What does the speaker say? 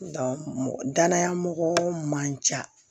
mɔgɔ danaya mɔgɔ man ca